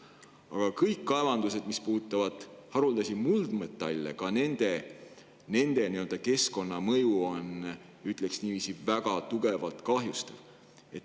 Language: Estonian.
Aga kõigi haruldaste muldmetallide kaevanduste keskkonnamõju on, ütleks niiviisi, väga tugevalt kahjustav.